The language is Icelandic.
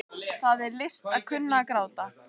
Það er list að kunna að gráta.